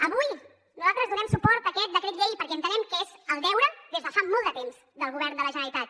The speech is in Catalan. avui nosaltres donem suport a aquest decret llei perquè entenem que és el deure des de fa molt de temps del govern de la generalitat